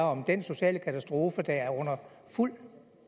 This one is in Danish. om den sociale katastrofe der er under fuld